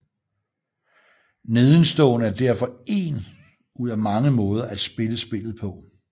Nedenstående er derfor én ud af mange måde at spille spillet på